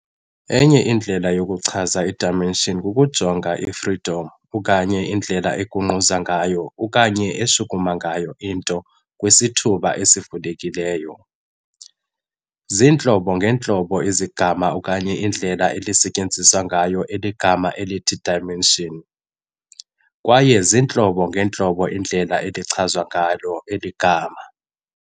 Enye indlela yokuchaza i-dimension kukujonga kumaqondo freedom okanye indlela egungquza okanye eshukuma ngayo into kwisithuba esivulekileyo. Ziintlobo ngeentlobo izigama okanye iindlela elisetyenziswa ngayo igama elithi dimension, kwayeziintlobo-ngeentlobo iindlela elichazwa ngayo eli gama.